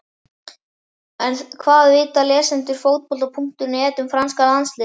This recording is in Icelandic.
En hvað vita lesendur Fótbolta.net um franska landsliðið?